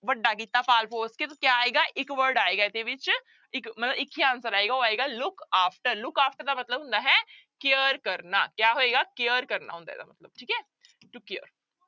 ਵੱਡਾ ਕੀਤਾ ਪਾਲਪੌਸ਼ ਕੇ ਤੇ ਕਿਆ ਆਏਗਾ ਇੱਕ word ਆਏਗਾ ਇਹਦੇ ਵਿੱਚ, ਇੱਕ ਮਤਲਬ ਇੱਕ ਹੀ answer ਆਏਗਾ ਉਹ ਆਏਗਾ look after, look after ਦਾ ਮਤਲਬ ਹੁੰਦਾ ਹੈ care ਕਰਨਾ ਕਿਆ ਹੋਏਗਾ care ਕਰਨਾ ਹੁੰਦਾ ਹੈ ਇਹਦਾ ਮਤਲਬ ਠੀਕ ਹੈ to care